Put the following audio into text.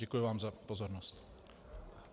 Děkuji vám za pozornost.